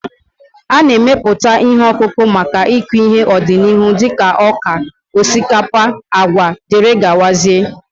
A na-emepụta ihe ọkụkụ maka ịkụ ihe n'ọdịnihu dịka ọka, osikapa, agwa wdg